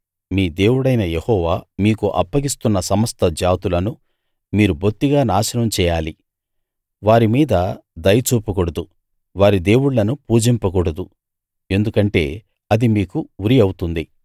మీ దేవుడైన యెహోవా మీకు అప్పగిస్తున్న సమస్త జాతులనూ మీరు బొత్తిగా నాశనం చేయాలి వారి మీద దయ చూపకూడదు వారి దేవుళ్ళను పూజింపకూడదు ఎందుకంటే అది మీకు ఉరి అవుతుంది